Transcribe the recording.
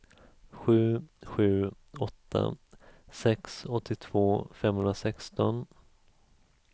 sju sju åtta sex åttiotvå femhundrasexton